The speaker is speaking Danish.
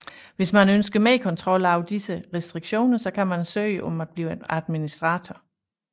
Hvis man ønsker mere kontrol over disse restriktioner kan man søge om at blive administrator